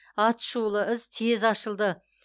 атышулы іс тез ашылды